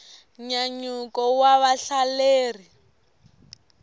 nyanyuko wa vahelleri